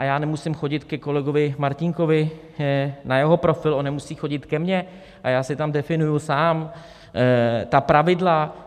A já nemusím chodit ke kolegovi Martínkovi na jeho profil, on nemusí chodit ke mně a já si tam definuji sám ta pravidla.